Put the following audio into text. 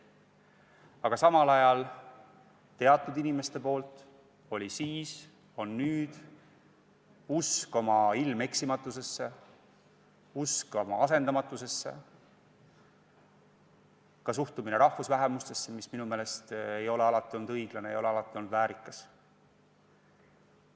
Aga samal ajal teatud inimestel oli siis ja on nüüd usk oma ilmeksimatusesse, usk oma asendamatusesse, ka suhtumine rahvusvähemustesse, mis minu meelest ei ole alati olnud õiglane ega väärikas.